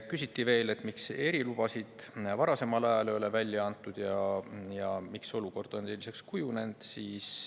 Küsiti veel, miks erilubasid varasemal ajal ei ole välja antud ja miks olukord on selliseks kujunenud.